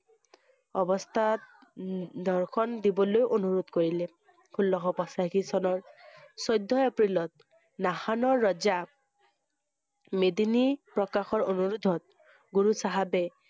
অৱস্থাত দৰ্শন দিবলৈ অনুৰোধ কৰিলে। ষোল্লশ পঁচাশী চনৰ চৈধ্য এপ্ৰিলত, নাসানৰ ৰজা মেদিনি প্ৰকাশৰ অনুৰোধ হল। গুৰু চাহাবে